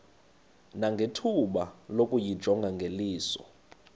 nangethuba lokuyijonga ngeliso